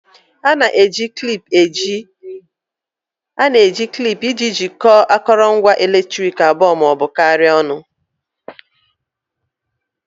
A na-eji klip iji jikọọ akụrụngwa eletriki abụọ ma ọ bụ karịa ọnụ